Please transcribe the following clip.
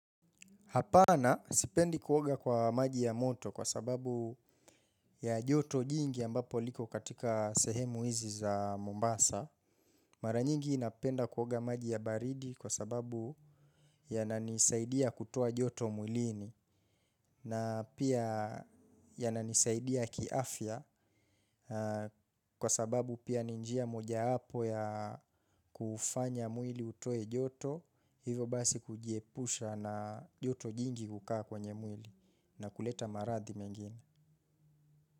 Hapana sipendi kuoga kwa maji ya moto kwa sababu ya joto jingi ambapo liko katika sehemu hizi za Mombasa. Mara nyingi napenda kuoga maji ya baridi kwa sababu yananisaidia kutoa joto mwilini na pia yananisaidia kiafia kwa sababu pia nibnjia moja hapo ya kufanya mwili utoe joto. Hivo basi kujiepusha na yoto jingi kukaa kwenye mwili na kuleta marathi mengine.